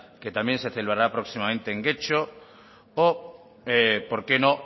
que también que celebrará próximamente en getxo o por qué no